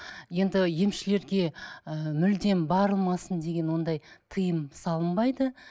енді емшілерге ы мүлдем бармасын деген ондай тыйым салынбайды